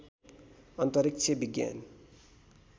अन्तरिक्ष विज्ञान